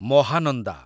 Mahananda